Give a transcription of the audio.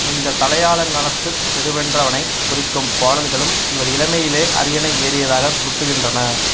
இந்தத் தலையாலங்கானத்துச் செருவென்றவனைக் குறிக்கும் பாடல்களும் இவர் இளமையிலேயே அரியணை ஏறியதாகச் சுட்டுகின்றன